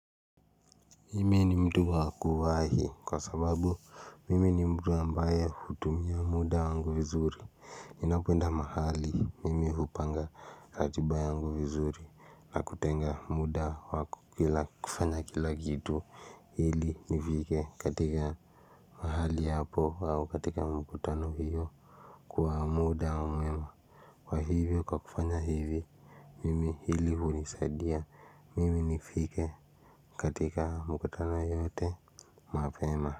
Mimi ni mtu wa kuwahi, kwa sababu mimi ni mtu ambaye hutumia muda wangu vizuri Ninapenda mahali mimi hupanga ratiba yangu vizuri, na kutenga muda wa kufanya kila kitu ili nifike katika mahali hapo au katika mkutano hiyo kwa muda mwema kwa hivyo kwa kufanya hivi Mimi hili hunisadia mimi nifike katika mkutano yote mapema.